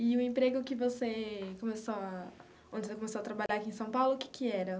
E o emprego que você começou a, onde você começou a trabalhar aqui em São Paulo, o que que era?